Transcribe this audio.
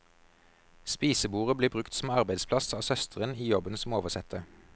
Spisebordet blir brukt som arbeidsplass av søsteren i jobben som oversetter.